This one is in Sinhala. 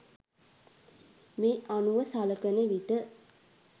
මේ අනුව සලකන විට